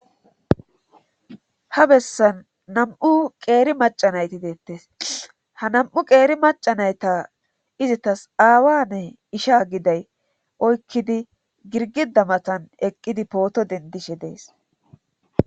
Ha bessan nam'u qeeri macanayti deettes ha nam7u qeeri macanayta izitas aawane isha giday oykkidi girgida matan eqqidi pooto dendishe dees